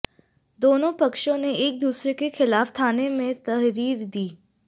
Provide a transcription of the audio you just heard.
दोनों पक्षों ने एक दूसरे के खिलाफ थाने में तहरीर दी